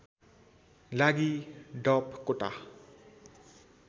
लागि डप कोटा